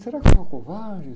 Será que eu sou um covarde?